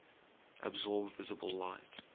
absorb visible light